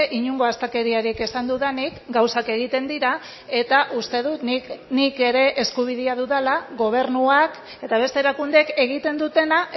inongo astakeriarik esan dudanik gauzak egiten dira eta uste dut nik nik ere eskubidea dudala gobernuak eta beste erakundeek egiten dutena